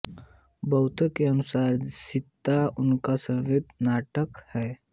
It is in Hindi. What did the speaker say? बहुतों के अनुसार सीता उनका सर्वोत्तम नाटक है